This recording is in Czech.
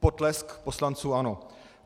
Potlesk poslanců ANO.